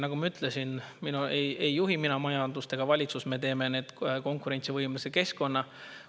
Nagu ma ütlesin, majandust ei juhi mina ega valitsus, me teeme konkurentsivõimelise keskkonna.